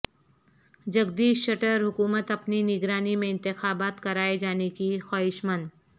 جگدیش شٹر حکومت اپنی نگرانی میں انتخابات کرائے جانے کی خواہشمند